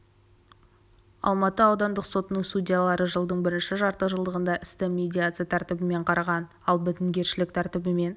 алматы аудандық сотының судьялары жылдың бірінші жарты жылдығында істі медиация тәртібімен қараған ал бітімгершілік тәртібімен